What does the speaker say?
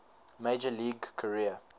major league career